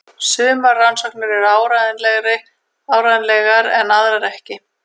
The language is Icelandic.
Sumar rannsóknirnar eru áreiðanlegar en aðrar ekki.